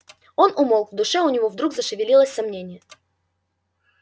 он умолк в душе у него вдруг зашевелилось сомнение